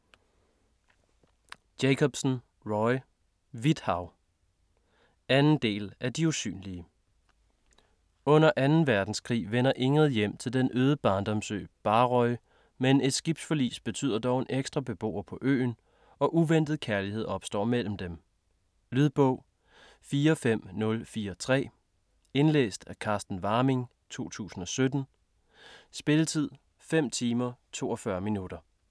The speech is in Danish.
Jacobsen, Roy: Hvidt hav 2. del af De usynlige. Under 2. verdenskrig vender Ingrid hjem til den øde barndomsø Barrøy, men et skibsforlis betyder dog en ekstra beboer på øen, og uventet kærlighed opstår mellem dem. Lydbog 45043 Indlæst af Carsten Warming, 2017. Spilletid: 5 timer, 42 minutter.